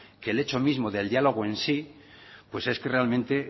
el hecho mismo del diálogo en sí pues es que realmente